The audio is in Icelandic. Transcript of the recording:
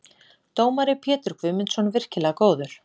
Dómari: Pétur Guðmundsson- virkilega góður.